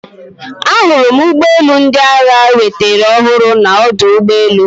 Ahụrụ m ụgbọ elu ndị agha enwetara ọhụrụ na ọdụ ụgbọ elu